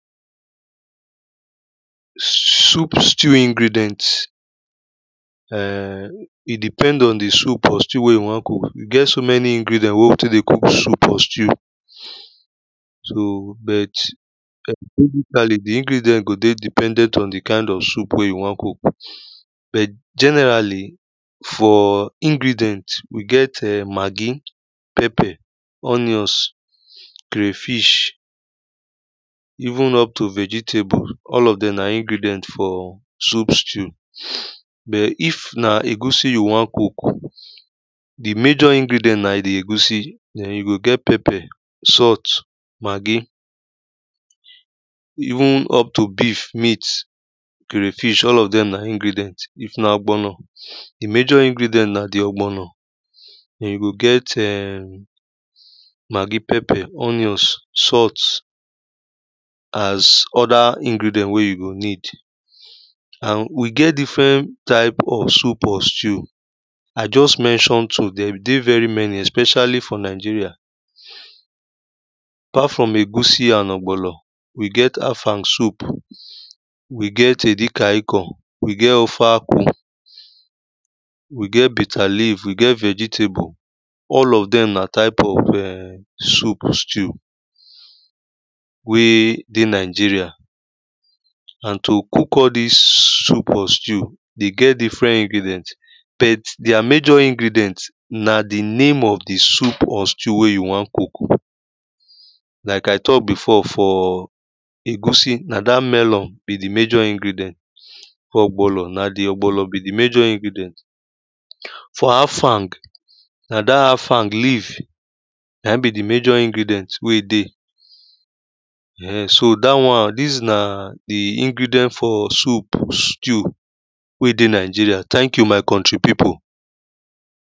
Soup stew ingredients. um It depend on the soup or stew wey you wan cook. You get so many ingredient wey them dey cook soup or stew. So, but basically the ingredient go be dependent on the kind of soup wey you wan cook. But generally for ingredient we get um Maggi, pepper, onions, crayfish. Even up to vegetable, all of them na ingredient for soup stew. But if na egusi you wan cook, the major ingredient na the egusi. Then you go get pepper, salt, Maggi. Even up to beef, meat, crayfish, all of them na ingredient. If na ogbono, the major ingredient na the ogbono. Then you go get um Maggi, pepper, onions, salt. As other ingredient wey you go need. And we get different type of soup or stew. I just mentioned two. There dey very many, especially for Nigeria. Apart from egusi and ogbono, we get afang soup. We get edikang ikong. We get ofe akwu. We get bitter leaf. We get vegetable. All of them na type of um soup stew. Wey dey Nigeria. And to cook all these soup or stew, they get different ingredient. But their major ingredient na the name of the soup or stew wey you wan cook. Like I talk before, for egusi, na that melon be the major ingredient. For ogbono, na the ogbono be the major ingredient. For afang, na that afang leaf na him be the major ingredient wey dey. um So, that one, this na the ingredient for soup stew wey dey Nigeria. Thank you my country people.